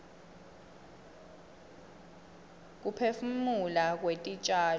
kuphefumula kwetitjalo